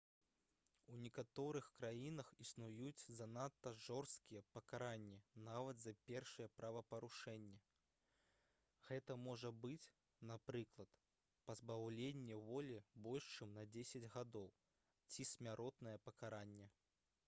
у некаторых краінах існуюць занадта жорсткія пакаранні нават за першыя правапарушэнні гэта можа быць напрыклад пазбаўленне волі больш чым на 10 гадоў ці смяротнае пакаранне